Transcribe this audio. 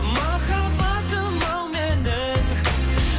махаббатым ау менің